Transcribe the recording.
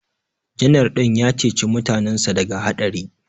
Janar din ya ceci mutanensa daga haɗari